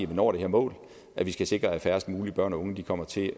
vi nå det her mål at vi skal sikre at færrest mulige børn og unge kommer til